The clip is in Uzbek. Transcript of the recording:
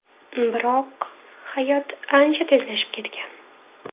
Biroq... hayot ancha tezlashib ketgan.